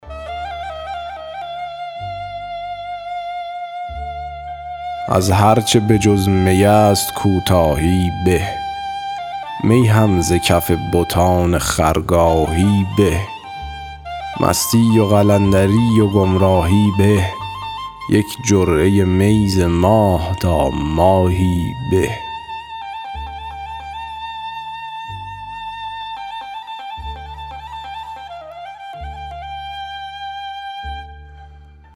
از هرچه بجز می است کوتاهی به می هم ز کف بتان خرگاهی به مستی و قلندری و گمراهی به یک جرعه می ز ماه تا ماهی به